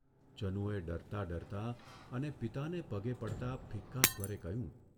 જનુએ ડરતા ડરતા અને પિતાને પગે પડતા ફિક્કા સ્વરે કહ્યું